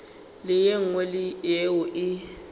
le ye nngwe yeo e